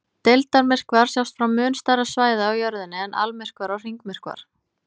Deildarmyrkvar sjást frá mun stærra svæði á Jörðinni en almyrkvar og hringmyrkvar.